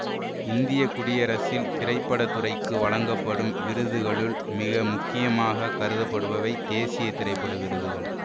இந்திய குடியரசில் திரைப்பட துறைக்கு வழங்கப்படும் விருதுகளுள் மிக முக்கியமாக கருதப்படுபவை தேசிய திரைப்பட விருதுகள்